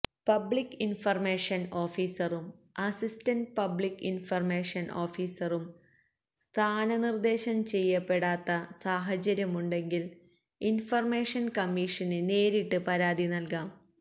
public information ഓഫീസറും assistant public information ഓഫീസറും സ്ഥാനനിർദ്ദേശം ചെയ്യപപ്പെടാത്ത സാഹചര്യമുണ്ടെങ്കിൽ ഇൻഫർമേഷൻ കമ്മീഷന് നേരിട്ട് പരാതി നൽകാം